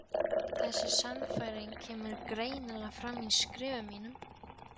Þessi sannfæring kemur greinilega fram í skrifum mínum.